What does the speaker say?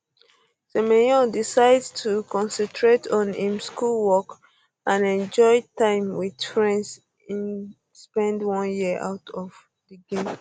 um semenyo decide to concentrate on im schoolwork and enjoy time wit friends im spend one year out of um di game